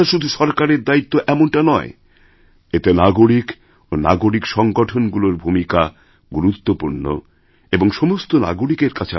স্বচ্ছতা শুধু সরকারের দায়িত্ব এমনটা নয় এতে নাগরিক ও নাগরিক সংগঠনগুলোর ভূমিকা গুরুত্বপূর্ণ এবং সমস্ত নাগরিকের